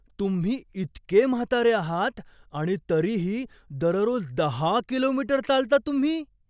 तुम्ही इतके म्हातारे आहात आणि तरीही दररोज दहा किलोमीटर चालता तुम्ही?